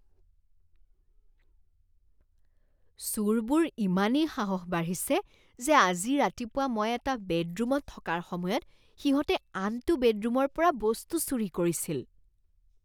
চোৰবোৰ ইমানেই সাহস বাঢ়িছে যে আজি ৰাতিপুৱা মই এটা বেডৰুমত থকাৰ সময়ত সিহঁতে আনটো বেডৰুমৰ পৰা বস্তু চুৰি কৰিছিল।